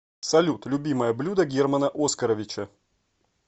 салют любимое блюдо германа оскаровича